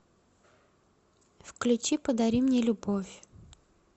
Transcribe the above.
включи подари мне любовь